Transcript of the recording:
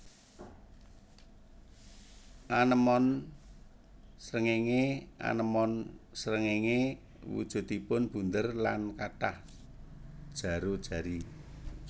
Anémon srengéngé anémon srengéngé wujudipun bunder lan kathah jaro jari